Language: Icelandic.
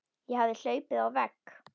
Ég hafði hlaupið á vegg.